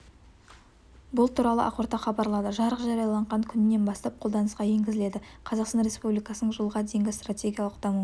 бұл туралы ақорда хабарлады жарлық жарияланған күнінен бастап қолданысқа енгізіледі қазақстан республикасының жылға дейінгі стратегиялық даму